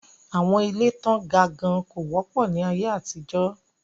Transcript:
Àwọn ilé tán ga gan kò wọ́pọ̀ ní aye àtijọ́.